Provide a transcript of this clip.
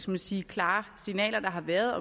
man sige klare signaler der har været